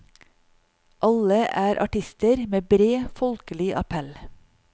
Alle er artister med bred folkelig appell.